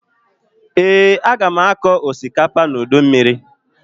Ee, aga m akọ osikapa n'udu mmiri